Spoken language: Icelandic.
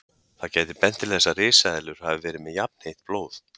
Það gæti bent til þess að risaeðlur hafi verið með jafnheitt blóð.